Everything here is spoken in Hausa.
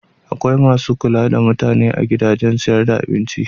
Akwai masu kula da mutane a gidajen siyar da abinci.